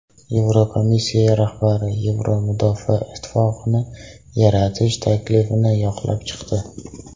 Yevrokomissiya rahbari Yevropa mudofaa ittifoqini yaratish taklifini yoqlab chiqdi.